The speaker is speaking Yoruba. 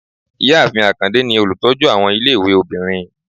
Ìyáàfín akande ni olutọju awọn ọmọ ìlé-ìwé obírín